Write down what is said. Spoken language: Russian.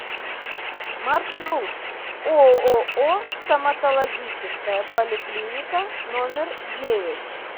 маршрут ооо стоматологическая поликлиника номер девять